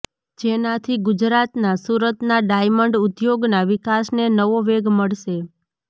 જેનાથી ગુજરાતના સૂરતના ડાયમંડ ઉદ્યોગના વિકાસને નવો વેગ મળશે